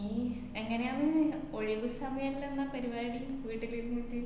എങ്ങനെയാന്ന് ഒഴിവ് സമയെല്ലന്ന പരിപാടി വീട്ടിലിരിന്നിറ്റ്